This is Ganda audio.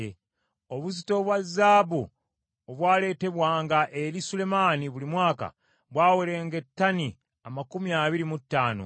Obuzito bwa zaabu obwaleetebwanga eri Sulemaani buli mwaka bwaweranga ettani amakumi abiri mu ttaano,